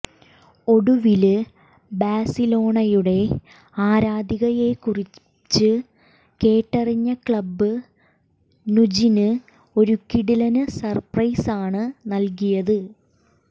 ഒടുവില് ബാഴ്സലോണയുടെ ആരാധികയേക്കുറിച്ച് കേട്ടറിഞ്ഞ ക്ലബ് നുജിന് ഒരു കിടിലന് സര്പ്രൈസാണ് നല്കിയത്